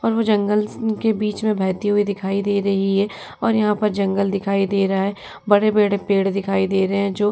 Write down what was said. और वो जंगल स अ के बीच में बहती हुई दिखाई दे रही है और यहां पर जंगल दिखाई दे रहा है। बड़े-बड़े पेड़ दिखाई दे रहे हैं जो --